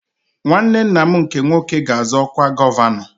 Nwanne nna m nke nwoke ga-azọ ọkwa gọvanọ